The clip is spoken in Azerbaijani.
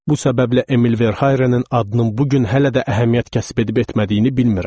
Bu səbəblə Emil Verharinin adının bu gün hələ də əhəmiyyət kəsb edib etmədiyini bilmirəm.